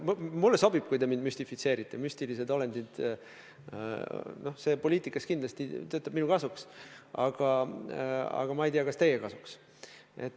Mulle sobib, kui te mind müstifitseerite – see poliitikas kindlasti töötab minu kasuks, aga ma ei tea, kas teie kasuks.